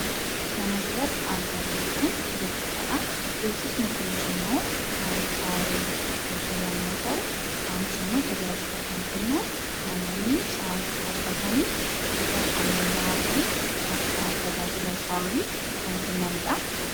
Kan asirratti argaa jirru Kun, beeksisadha. Beeksisni Kunis immoo kan shaaworii guutuu yemmuu ta'u isaanis immoo tajaajila kan kennan namoonni shaaworii akka argataniif bifa ammayyawaatii fi tajaajila shaaworii kan kennanidhaa.